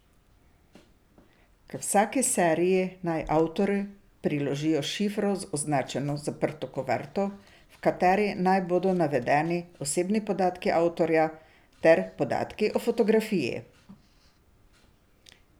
K vsaki seriji naj avtorji priložijo s šifro označeno zaprto kuverto, v kateri naj bodo navedeni osebnimi podatki avtorja ter podatki o fotografiji.